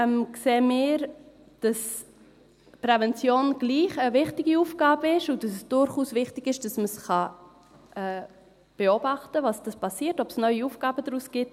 Allerdings sehen wir, dass die Prävention dennoch eine wichtige Aufgabe ist und dass es durchaus wichtig ist, dass man beobachten kann, was passiert und ob sich daraus neue Aufgaben ergeben.